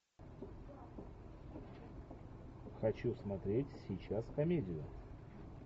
хочу смотреть сейчас комедию